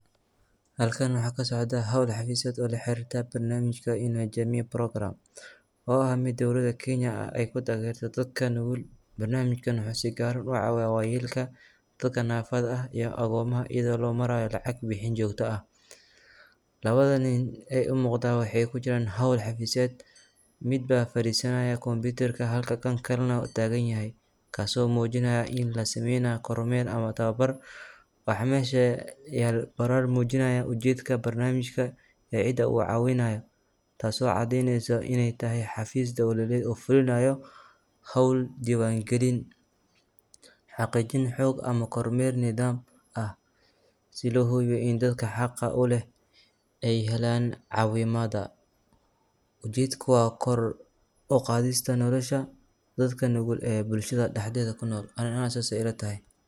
Halkan waxa ka socdah hol xafisad oo la xirta marnamishka inay progaramme oo ah mid dowlada kenya ah ay tagartoh dadkan marnamishkan wuxu si gara ah u cawiyah wayalka dadka nafada ah iyo agomaha ayado oo lomarayo lacag bixin jogta ah, lawadan nin umuqdan inay kujiran hol xafisad mid ba fadisanayo computerka kan kle nah u taganyahay kaas oo mujiranyo in la samaynayo gormar ama tawar waxa masha yalo qoran mujinaya ujadka marnamishka iyo cida u cawinayo, taas so ah cadaynasoh inay tahay xafikas dowladada oo fulinayo hool diwan galin, xaqijin xog ah ama gormar nadam ah sii lo hubiyo dadka xaqa ulah, ay halkan cawimad ujada waa gor u qadista nolosha dadka nugu aa bulshda dahda kunol aniga saas ay ila tahay.